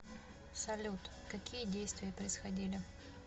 салют какие действия происходили